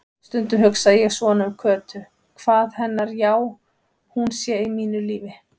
Stundum hugsa ég svona um Kötu, hvað hennar já-hún sé í mínu lífi.